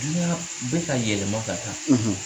Dunniyan bɛ ka yɛlɛma ka taa.; .